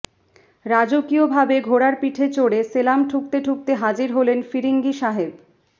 রাজকীয় ভাবে ঘোড়ার পিঠে চড়ে সেলাম ঠুকতে ঠুকতে হাজির হলেন ফিরিঙ্গি সাহেব